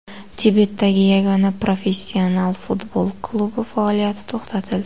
Tibetdagi yagona professional futbol klubi faoliyati to‘xtatildi.